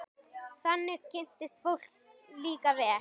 Þannig kynnist fólk líka vel.